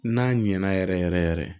N'a ɲɛna yɛrɛ yɛrɛ yɛrɛ